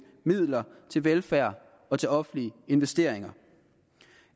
midler til velfærd og til offentlige investeringer